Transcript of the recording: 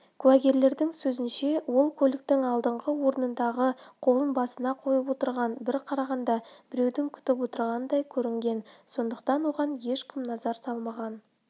куәгерлердің сөзінше ол көліктің алдыңғы орындығында қолын басына қойып отырған бір қарағанда біреуді күтіп отырғандай көрінген сондықтан оған ешкім назар салмаған